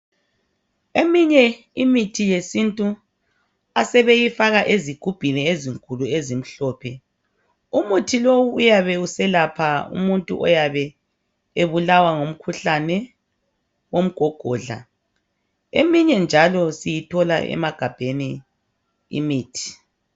Eminye imithi yesintu asebeyifaka ezigubhini ezinkulu ezimhlophe. Umuthi lowu uyabe uselapha umuntu oyabe ebulalwa ngumkhuhlane womgogodlla. Eminye njalo siyithola emagabheni imithi.